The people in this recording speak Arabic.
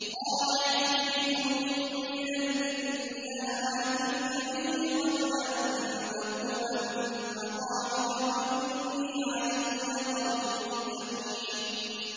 قَالَ عِفْرِيتٌ مِّنَ الْجِنِّ أَنَا آتِيكَ بِهِ قَبْلَ أَن تَقُومَ مِن مَّقَامِكَ ۖ وَإِنِّي عَلَيْهِ لَقَوِيٌّ أَمِينٌ